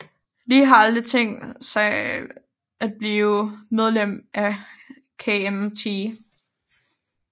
Lee har aldrig tænkt sig at blive medlem af KMT